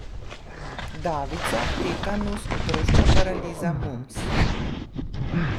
Davica, tetanus, otroška paraliza, mumps.